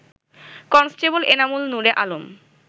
constable Enamul Nure Alam